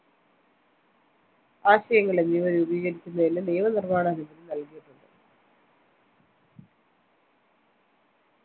ആശയങ്ങൾ എന്നിവ രൂപീകരിക്കുന്നതിന് നിയമനിർമ്മാണ അനുമതി നൽകിയിട്ടുണ്ട്